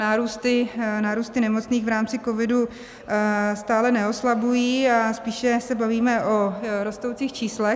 Nárůsty nemocných v rámci covidu stále neoslabují a spíše se bavíme o rostoucích číslech.